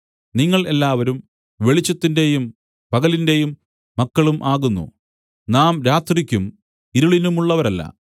നിങ്ങൾ എല്ലാവരും വെളിച്ചത്തിന്റെയും പകലിന്റെയും മക്കളും ആകുന്നു നാം രാത്രിക്കും ഇരുളിനുമുള്ളവരല്ല